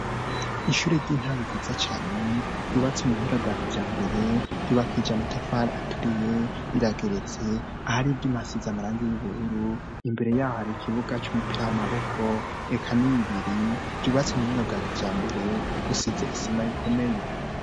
Ishure ry'intango ryiza cane, ryubatse mu buhinga bwa kijambere, ryubakishije amatafari aturiye, rirageretse ,ahar'ivyuma hasize amarangi y'ubururu, imbere yaho har'ikibuga c'umupira w'amaboko, eka ni bibiri, vyubatswe mu buhinga bwa kijambere, bisize isima ikomeye.